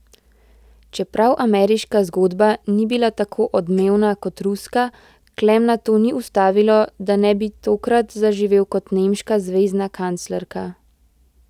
Čeprav ameriška zgodba ni bila tako odmevna kot ruska, Klemna to ni ustavilo, da ne bi tokrat zaživel kot nemška zvezna kanclerka.